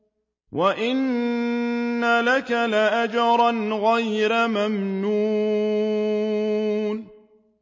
وَإِنَّ لَكَ لَأَجْرًا غَيْرَ مَمْنُونٍ